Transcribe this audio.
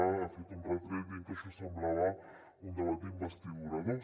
ha fet un retret dient que això semblava un debat d’investidura dos